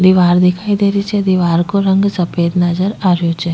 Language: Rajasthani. दिवार दिखाई दे रही छे दिवार को रंग सफेद नजर आ रहो छ।